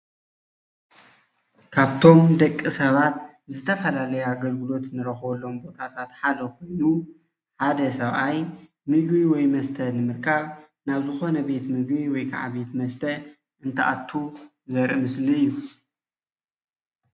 ካብቶም ደቂ ሰባት ዘተፋላለየ ኣገለግሎት እንረክበሎም ሓደ ኮይኑ ሓደ ሰብኣይ ምግቢ ወይ መስተ ንምርካብ ናብ ዝኮነ ቤት ምግቢ ወይድማ ቤት መሰተ እንትኣትዉ ዘርኢ ምስሊ እዩ፡፡